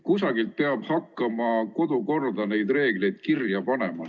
Kusagilt peab hakkama kodukorda neid reegleid kirja panema.